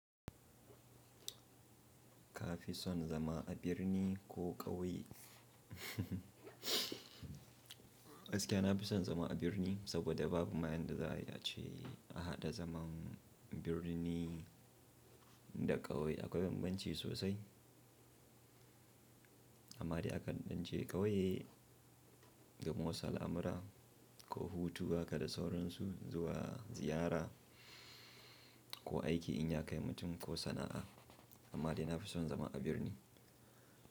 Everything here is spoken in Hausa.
Ka fi son zama a birni ko ƙauye? Gaskiya na fi son zama a birni, saboda babu mayan da za a ce a haɗa zaman birni da ƙauye, akwai bambanci sosai. Amma dai akan ɗan je ƙauye don wusa al'amura ko hutu, haka da sauransu zuwa ziyara ko aiki in ya kai mutum ko sana'a. Amma dai na fi son zama a birni.